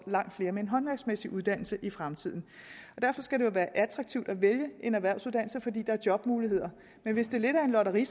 langt flere med en håndværksmæssig uddannelse i fremtiden og derfor skal det jo være attraktivt at vælge en erhvervsuddannelse altså fordi der er jobmuligheder men hvis det er lidt af et lotteri